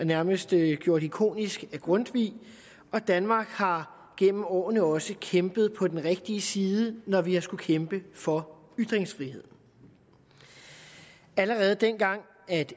nærmest blev gjort ikonisk af grundtvig og danmark har gennem årene også kæmpet på den rigtige side når vi har skullet kæmpe for ytringsfriheden allerede dengang